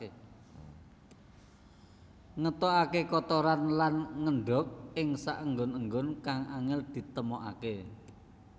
Ngetokaké kotoran lan ngendhog ing saenggon enggon kang angél ditemokaké